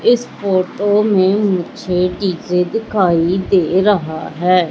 इस फोटो में मुझे डी_जे दिखाई दे रहा है।